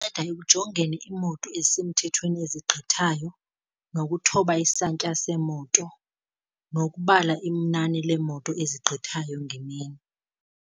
Anceda ekujongeni iimoto ezisemthethweni ezigqithayo nokuthoba isantya seemoto, nokubala inani leemoto ezigqithayo ngemini.